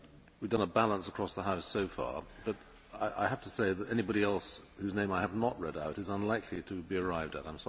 We have a balance across the House so far, but I have to say that anybody else whose name I have not read out is unlikely to be arrived at.